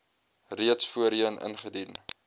reeds voorheen ingedien